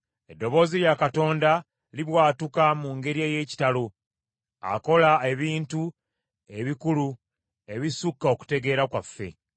Eddoboozi lya Katonda libwatuka mu ngeri ey’ekitalo; akola ebintu ebikulu ebisukka okutegeera kwaffe.